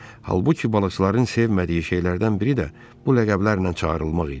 Halbuki balıqçıların sevmədiyi şeylərdən biri də bu ləqəblərlə çağırılmaq idi.